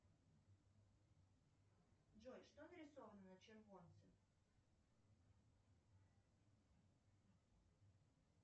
джой что нарисовано на червонце